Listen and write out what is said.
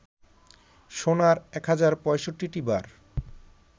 সোনার ১০৬৫টি বার